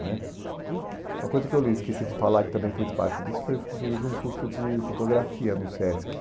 né Uma coisa que eu lhe esqueci de falar, que também fez parte disso, foi foi que eu fiz um curso de fotografia no SESC.